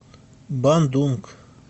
бандунг